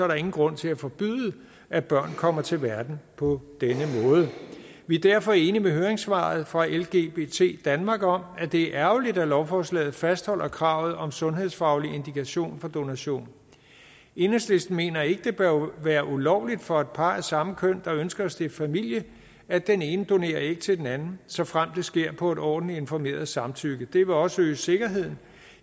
der ingen grund til at forbyde at børn kommer til verden på denne måde vi er derfor enige i høringssvaret fra lgbt danmark om at det er ærgerligt at lovforslaget fastholder kravet om sundhedsfaglig indikation for donation enhedslisten mener ikke det bør være ulovligt for et par af samme køn der ønsker at stifte familie at den ene donerer æg til den anden såfremt det sker på et ordentligt informeret samtykke det vil også øge sikkerheden